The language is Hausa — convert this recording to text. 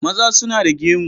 Maza suna da gemu.